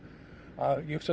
að ég hugsa